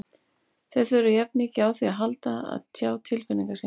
Þeir þurfa jafn mikið á því að halda að tjá tilfinningar sínar.